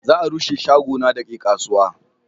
za a rushe shago na da ke kasuwa